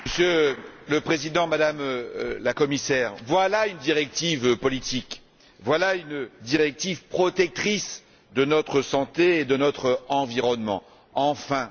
Monsieur le Président, Madame la Commissaire, voilà une directive politique, voilà une directive protectrice de notre santé et de notre environnement, enfin!